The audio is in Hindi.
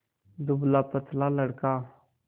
दुबलापतला लड़का